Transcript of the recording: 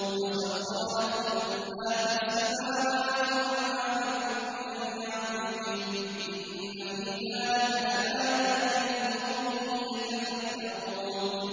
وَسَخَّرَ لَكُم مَّا فِي السَّمَاوَاتِ وَمَا فِي الْأَرْضِ جَمِيعًا مِّنْهُ ۚ إِنَّ فِي ذَٰلِكَ لَآيَاتٍ لِّقَوْمٍ يَتَفَكَّرُونَ